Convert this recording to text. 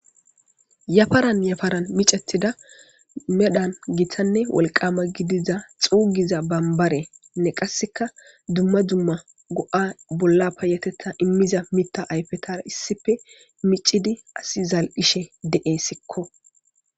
Yafaran yafaran michetidda wolqama gidizza xugidda banibarenne qasseka go'a bolla payatetta imizza ayipetara issippe michchidi asi zalishshen de'esikko.